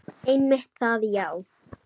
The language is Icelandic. Einmitt það já.